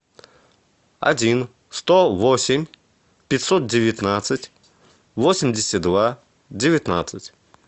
один сто восемь пятьсот девятнадцать восемьдесят два девятнадцать